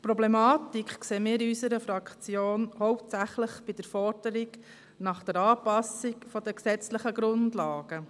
Die Problematik sehen wir in unserer Fraktion hauptsächlich bei der Forderung nach der Anpassung der gesetzlichen Grundlagen.